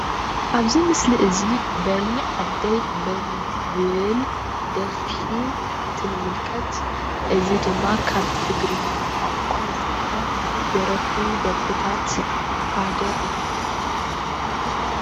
ኣብዚ ምስሊ እዚ በሊ ዓደይ በሊ ዝብል ደርፊ እንትንምልከት እዚ ድማ ካብ ትግርኛ ቋንቋ ዝተደረፉ ደርፍታት ሓደ እዩ።